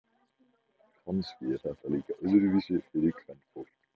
Kannski er þetta líka öðruvísi fyrir kvenfólk.